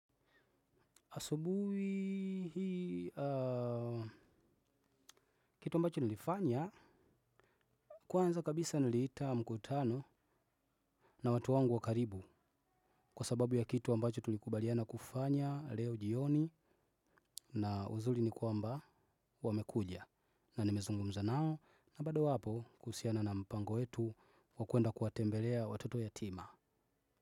Asubuhi hii kitu ambacho nilifanya kwanza kabisa niliita mkutano na watu wangu wakaribu kwa sababu ya kitu ambacho tulikubaliana kufanya leo jioni na uzuri ni kwamba wamekuja na nimezungumza nao na bado wapo kuhusiana na mpango wetu wakwenda kuwatembelea watoto yatima.